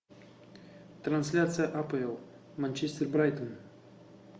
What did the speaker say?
трансляция апл манчестер брайтон